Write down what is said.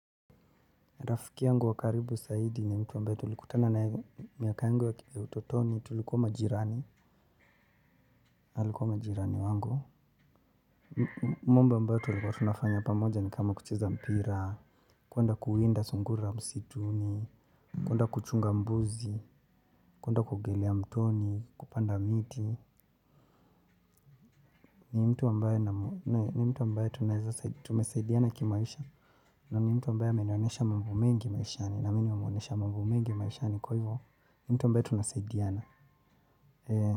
Rafiki angu wakaribu saidi ni mtu ambae tulikutana nae miaka yangu ya utotoni tulikuwa majirani. Alikuwa majirani wangu. Mambo ambayo tulikuwa tunafanya pamoja ni kama kucheza mpira. Kwenda kuwinda sungura msituni kwenda kuchunga mbuzi kwenda kuogelea mtoni kupanda miti. Ni mtu ambae na mtu ambae tumesaidiana kimaisha. Na ni mtu ambae amenionyesha mambo mengi maishani. Na mimi nimemuonyesha mambo mengi maishani kwa hivo. Ni mtu ambae tunasaidiana.